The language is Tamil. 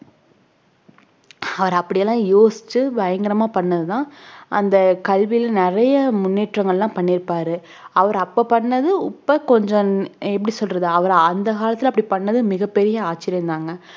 அவர் அப்படி எல்லாம் யோசிச்சு பயங்கரமா பண்ணது தான் அந்த கல்வியில நிறைய முன்னேற்றங்கள்லாம் பண்ணி இருப்பாரு அவரு அப்ப பண்ணது இப்ப கொஞ்சம் எப்படி சொல்றது அவர் அந்த காலத்துல அப்படி பண்ணது மிகப் பெரிய ஆச்சரியம் தாங்க